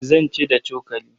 Zan ci da cokali.